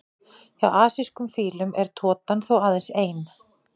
Hjá asískum fílum er totan þó aðeins ein.